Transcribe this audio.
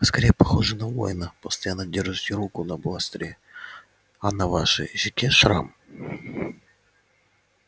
вы скорее похожи на воина постоянно держите руку на бластере а на вашей щеке шрам